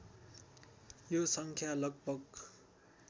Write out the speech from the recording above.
यो सङ्ख्या लगभग